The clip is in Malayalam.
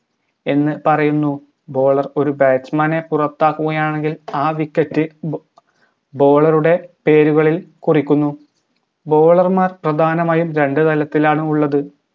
എന്ന് പറയുന്നു bowler ഒരു batsman പുറത്താക്കുകയാണെങ്കിൽ ആ wicket bowler ഉടെ പേരുകളിൽ കുറിക്കുന്നു bowler മാർ പ്രധാനമായും രണ്ടുതലത്തിലാണുള്ളത്